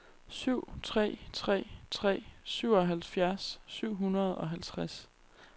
syv tre tre tre syvoghalvfjerds syv hundrede og halvtreds